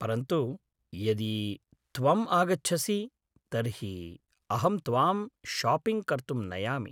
परन्तु यदि त्वम् आगच्छसि तर्हि अहं त्वां शापिङ्ग् कर्तुं नयामि।